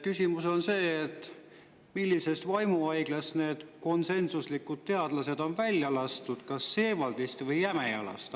Küsimus on see, millisest vaimuhaiglast need teadlased, konsensuse, on välja lastud, Seewaldist või Jämejalast.